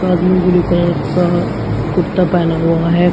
इसने blue colour का कुर्ता पहना हुआ है।